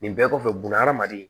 Nin bɛɛ kɔfɛ bunahadamaden